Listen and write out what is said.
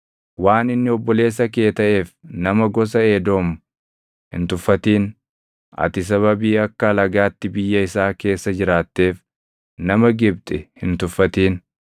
Waan inni obboleessa kee taʼeef nama gosa Edoom hin tuffatin. Ati sababii akka alagaatti biyya isaa keessa jiraatteef nama Gibxi hin tuffatin.